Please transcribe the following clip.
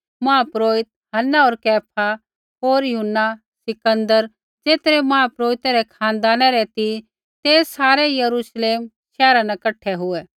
महापुरोहित हन्ना होर कैफा होर यूहन्ना सिकन्दर ज़ेतरै महापुरोहितै रै खानदाना रै ती ते सारै यरूश्लेम शैहरा न कठा हुऐ